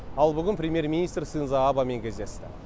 ал бүгін премьер министр синдзо абэмен кездесті